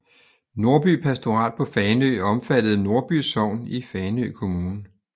Nordby Pastorat på Fanø omfattede Nordby Sogn i Fanø Kommune